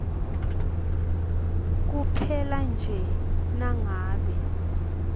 kuphela nje nangabe